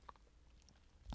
DR2